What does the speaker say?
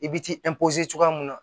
I bi t'i cogoya mun na